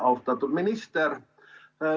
Austatud minister!